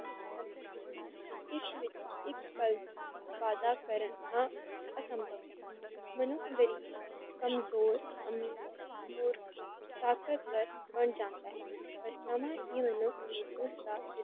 ਇੱਕ ਪਲ ਵਾਦਾ ਕਰਨਾ ਅਸਮਭਵ ਹੈ ਮੈਨੂੰ ਕਮਜ਼ੋਰ, ਅਮੀਰ, ਮੂਰਖ, ਤਾਕਤਵਰ ਬਣ ਜਾਂਦਾ ਹੈ, ਪਰ ਸਮਾਂ ਹੀ ਕੇਵਲ